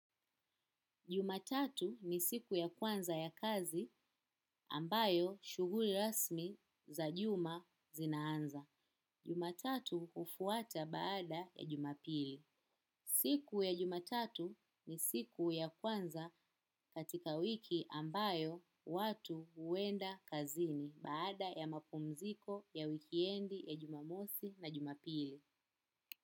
Jumatatu ni siku ya kwanza ya kazi ambayo shuguli rasmi za juma zinaanza. Jumatatu ufuata baada ya jumapili. Siku ya jumatatu ni siku ya kwanza katika wiki ambayo watu uenda kazini baada ya mapumziko ya wikiendi ya jumamosi na jumapili.